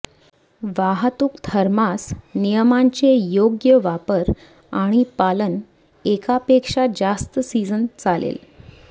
वाहतूक थर्मॉस नियमांचे योग्य वापर आणि पालन एकापेक्षा जास्त सिजन चालेल